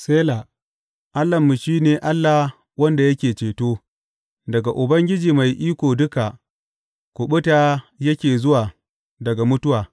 Sela Allahnmu shi ne Allah wanda yake ceto; daga Ubangiji Mai Iko Duka kuɓuta yake zuwa daga mutuwa.